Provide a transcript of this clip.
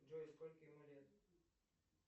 джой сколько ему лет